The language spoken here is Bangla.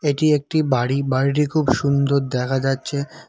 এটি একটি বাড়ি বাড়িটি খুব সুন্দর দেখা যাচ্ছে।